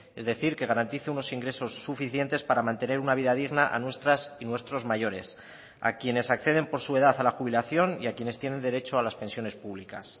es decir que garantice unos ingresos suficientes para mantener una vida digna a nuestras y nuestros mayores a quienes acceden por su edad a la jubilación y a quienes tienen derecho a las pensiones públicas